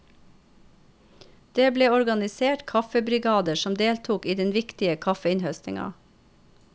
Det ble organisert kaffebrigader som deltok i den viktige kaffeinnhøstinga.